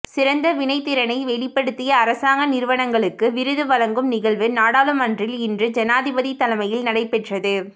சிறந்த வினைத்திறனை வெளிப்படுத்திய அரசாங்க நிறுவனங்களுக்கு விருது வழங்கும் நிகழ்வு நாடாளுமன்றில் இன்று ஜனாதிபதி தலைமையில் நடைபெற்றது